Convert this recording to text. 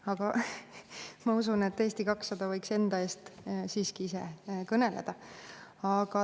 Aga ma usun, et Eesti 200 võiks enda eest siiski ise kõneleda.